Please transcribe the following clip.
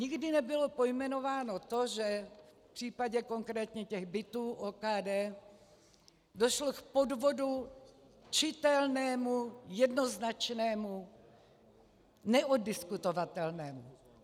Nikdy nebylo pojmenováno to, že v případě konkrétně těch bytů OKD došlo k podvodu, čitelnému, jednoznačnému, neoddiskutovatelnému.